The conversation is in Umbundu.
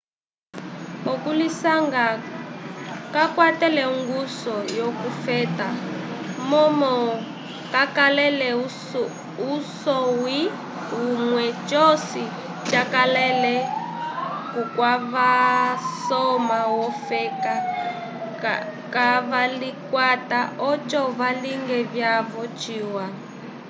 okulisanga kakwatele ongusu yo ku feta momo kakalele usonwi umwe cosi cakalele kwavasoma yo feka ka valikwata oco valinge vyavo ciwa